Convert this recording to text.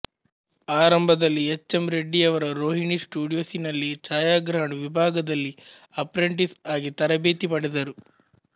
ಆರಂಭದಲ್ಲಿ H M ರೆಡ್ಡಿಯವರ ರೋಹಿಣಿ ಸ್ಟುಡಿಯೋಸಿನಲ್ಲಿ ಛಾಯಾಗ್ರಹಣ ವಿಭಾಗದಲ್ಲಿ ಅಪ್ರೆಂಟಿಸ್ ಆಗಿ ತರಬೇತಿ ಪಡೆದರು